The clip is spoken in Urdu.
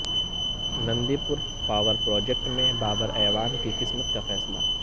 نندی پور پاور پراجیکٹ میں بابر اعوان کی قسمت کا فیصلہ